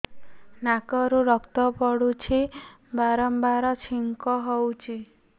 ନାକରୁ ରକ୍ତ ପଡୁଛି ବାରମ୍ବାର ଛିଙ୍କ ହଉଚି